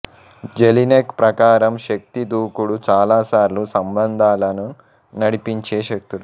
Jellinek ప్రకారం శక్తి దూకుడు చాలాసార్లు సంబంధాలను నడిపించే శక్తులు